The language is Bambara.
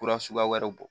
Kura suguya wɛrɛw